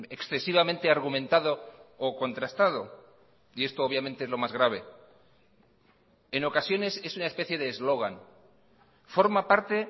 excesivamente argumentado o contrastado y esto obviamente es lo más grave en ocasiones es una especie de eslogan forma parte